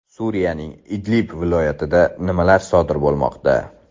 Suriyaning Idlib viloyatida nimalar sodir bo‘lmoqda?